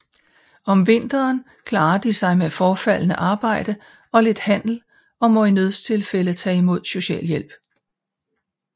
Om vinteren klarer de sig med forefaldende arbejde og lidt handel og må i nødstilfælde tage imod socialhjælp